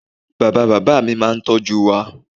Bàbá bàbá mi máa n tọ́jú wa